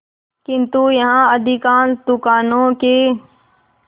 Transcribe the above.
किंतु यहाँ अधिकांश दुकानों के